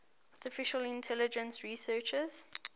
artificial intelligence researchers